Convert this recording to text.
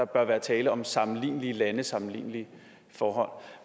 bør være tale om sammenlignelige lande sammenlignelige forhold